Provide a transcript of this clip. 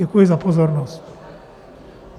Děkuji za pozornost.